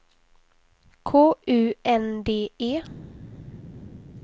K U N D E